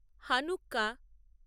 Hanukkah